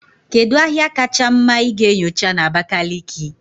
Kedu ahịa kacha mma ị ga-enyocha na Abakaliki?